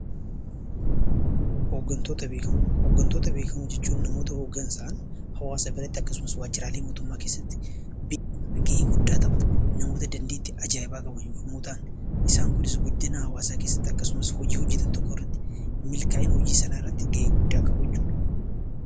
Hoggantoota beekamoo jechuun namoota hoggansaan hawaasa keessatti akkasumas waajjiraalee mootummaa keessatti gahee guddaa taphatan, namota dandeettii ajaa'ibaa qaban yommuu ta'an, isaan kunis guddina hawaasaa keessatti akkasumas hojii hojjetan tokko irratti milkaa'ina hojii sanaa irraatti gahee guddaa qabu jechuu dha.